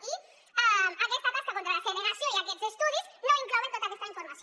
i aquesta tasca contra la segregació i aquests estudis no inclouen tota aquesta informació